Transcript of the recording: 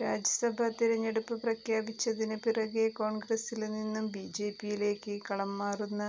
രാജ്യസഭാ തിരഞ്ഞെടുപ്പ് പ്രഖ്യാപിച്ചതിന് പിറകേ കോണ്ഗ്രസില് നിന്നും ബിജെപിയിലേക്ക് കളം മാറുന്ന